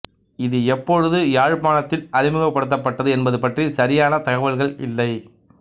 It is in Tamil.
இது எப்பொழுது யாழ்ப்பாணத்தில் அறிமுகப்படுத்தப்பட்டது என்பதுபற்றிய சரியான தகவல்கள் இல்லை